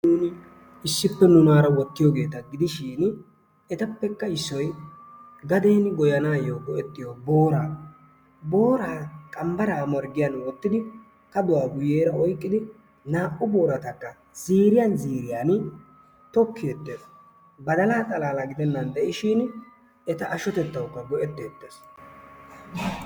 issippe nunaara wottiyoogeeta gidishin etappekka issoy gaden goyyanayo go'ettiyo booraa, boora qambbaara morggiyan wottidi kaduwaa guyyeera oyqqidi naa''u booratakka ziiriyan ziiriyan tokketees. badalaa xalalla gidennan de'ishin eta ashshotettawukka go''etettees.